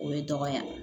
O ye dɔgɔya ye